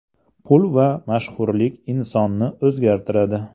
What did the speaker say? Pul va mashhurlik insonni o‘zgartiradi.